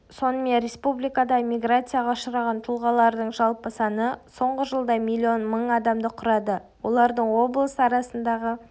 сонымен республикадағы миграцияға ұшыраған тұлғалардың жалпы саны соңғы жылда миллион мың адамды құрады олардың облыс арасындағы